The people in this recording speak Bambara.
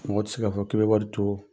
Mɔgɔ tɛ se k'a fɔ k'i bɛ wari to